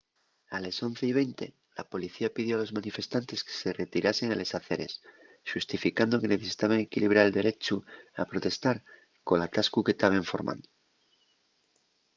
a les 11:20 la policía pidió a los manifestantes que se retiraren a les aceres xustificando que necesitaben equilibrar el derechu a protestar col atascu que taben formando